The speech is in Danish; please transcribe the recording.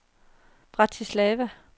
Bratislava